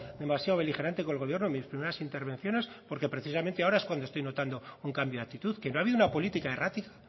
demasiado beligerante con el gobierno en mis primeras intervenciones porque precisamente ahora es cuando estoy notando un cambio de actitud que no ha habido una política errática